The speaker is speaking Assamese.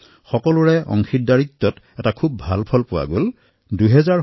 সকলোৰে অংশগ্ৰহণৰ দ্বাৰা এটা ভাল পৰিণাম প্ৰাপ্ত হৈছে